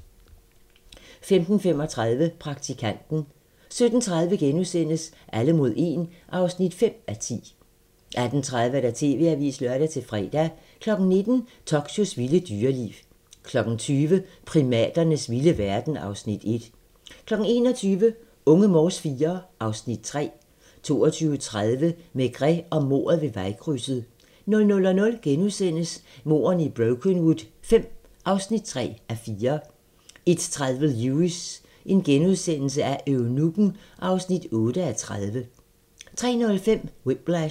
15:35: Praktikanten 17:30: Alle mod 1 (5:10)* 18:30: TV-avisen (lør-fre) 19:00: Tokyos vilde dyreliv 20:00: Primaternes vilde verden (Afs. 1) 21:00: Unge Morse IV (Afs. 3) 22:30: Maigret og mordet ved vejkrydset 00:00: Mordene i Brokenwood V (3:4)* 01:30: Lewis: Eunukken (8:30)* 03:05: Whiplash